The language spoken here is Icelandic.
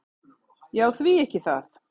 """Já, því ekki það."""